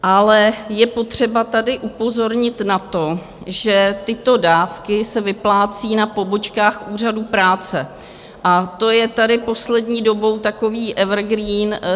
Ale je potřeba tady upozornit na to, že tyto dávky se vyplácí na pobočkách Úřadu práce, a to je tady poslední dobou takový evergreen.